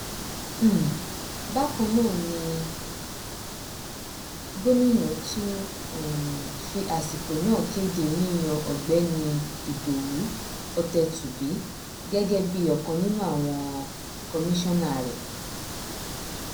um bákan náà ni gómìnà tún um fi àsìkò náà kéde yíyan ọgbẹni ìdòwú ọtẹtùbí gẹgẹ bíi ọkan nínú àwọn kọmíṣánná rẹ